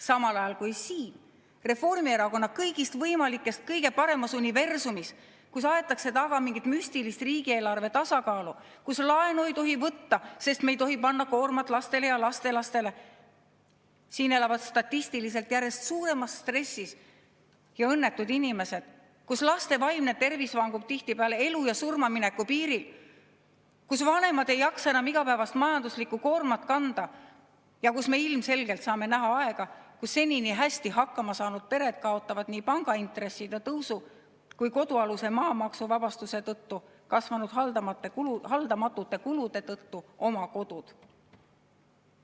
Samal ajal kui siin, Reformierakonna kõigist võimalikest kõige paremas universumis, kus aetakse taga mingit müstilist riigieelarve tasakaalu, kus laenu ei tohi võtta, sest me ei tohi panna koormat lastele ja lastelastele, elavad statistiliselt võttes järjest suuremas stressis ja õnnetud inimesed, kus laste vaimne tervis vangub tihtipeale elu ja surmamineku piiril, kus vanemad ei jaksa enam igapäevast majanduslikku koormat kanda ja kus me ilmselgelt saame näha aega, kui senini hästi hakkama saanud pered kaotavad nii pangaintresside tõusu kui ka kodualuse maa maksuvabastuse tõttu haldamatuks kasvanud kulude pärast oma kodu.